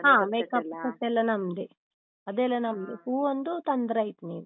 ಹಾ makeup set ಎಲ್ಲ ನಮ್ದೆ. ಅದೆಲ್ಲ ನಮ್ದೇ, ಹೂ ಒಂದು ತಂದ್ರಾಯ್ತು ನೀವು.